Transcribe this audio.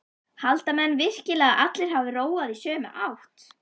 Halda menn virkilega að allir hafi róað í sömu átt?